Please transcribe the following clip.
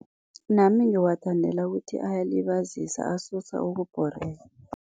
Nami ngiwathandela ukuthi ayalibazisa, asusa ukubhoreka.